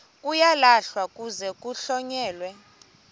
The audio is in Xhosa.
uyalahlwa kuze kuhlonyelwe